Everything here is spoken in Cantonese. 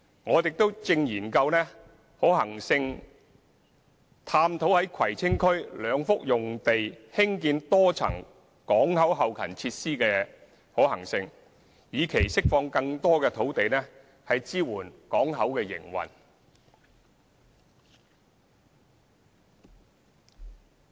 我們亦正進行可行性研究，探討在葵青區兩幅用地興建多層港口後勤設施的可行性，以期釋放更多土地支援港口營運。